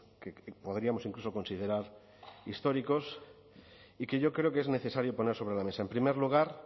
que podríamos incluso considerar históricos y que yo creo que es necesario poner sobre la mesa en primer lugar